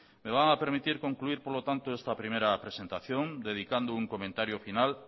me van a permitir concluir por lo tanto esta primera presentación dedicando un comentario final